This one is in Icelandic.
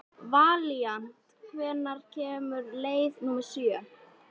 Valíant, hvenær kemur leið númer sjö?